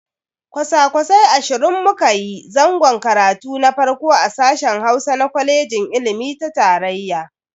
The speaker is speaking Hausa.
Kwasa-kwasai ashirin mu kayi zangon karatu na farko a sashen Hausa na kwaleji ilimi ta tarayya.